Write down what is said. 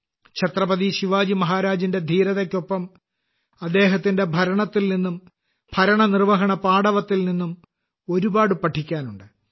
ഛത്രപതി ശിവാജി മഹാരാജിന്റെ ധീരതയ്ക്കൊപ്പം അദ്ദേഹത്തിന്റെ ഭരണത്തിൽ നിന്നും ഭരണനിർവഹണപാടവത്തിൽ നിന്നും ഒരുപാട് പഠിക്കാനുണ്ട്